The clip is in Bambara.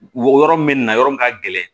Won yɔrɔ min na yɔrɔ min ka gɛlɛn